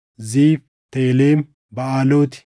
Ziif, Telem, Baʼaalooti,